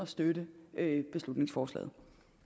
støtte beslutningsforslaget